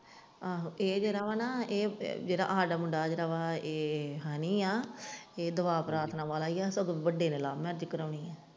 ਆਹੋ ਇਹ ਜਿਹੜਾ ਵਾ ਨਾ ਇਹ ਜਿਹੜਾ ਆਹ ਦਾ ਮੁੰਡਾ ਜਿਹੜਾ ਵਾ ਇਹ ਹਨੀ ਦੁਆ ਪਰਾਥਨਾ ਵਾਲਾ ਹੀ ਆ ਸਗੋਂ ਵੱਡੇ ਨੇ love marriage ਕਰਾਉਣੀ।